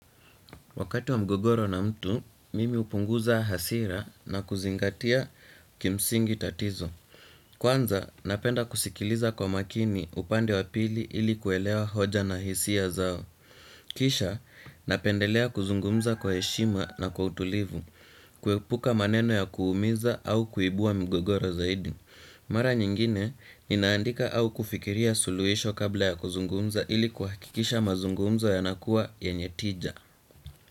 Wakati wa mgogoro na mtu, mimi hupunguza hasira na kuzingatia kimsingi tatizo. Kwanza, napenda kusikiliza kwa makini upande wa pili ili kuelewa hoja na hisia zao. Kisha, napendelea kuzungumza kwa heshima na kwa utulivu, kuepuka maneno ya kuumiza au kuibua migogoro zaidi. Mara nyingine, ninaandika au kufikiria suluhisho kabla ya kuzungumza ili kuhakikisha mazungumzo yanakuwa yenye tija.